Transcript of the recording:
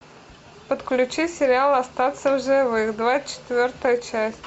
подключи сериал остаться в живых двадцать четвертая часть